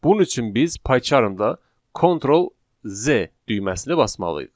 Bunun üçün biz Pycharmda Ctrl+Z düyməsini basmalıyıq.